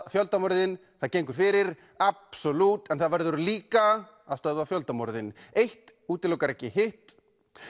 fjöldamorðin það gengur fyrir en það verður líka að stöðva fjöldamorðin eitt útilokar ekki hitt